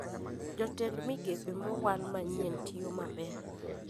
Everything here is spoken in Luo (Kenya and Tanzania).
Jotend migepe mowal manyien tiyo maber